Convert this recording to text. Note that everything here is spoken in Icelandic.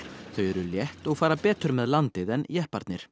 þau eru létt og fara betur með landið en jepparnir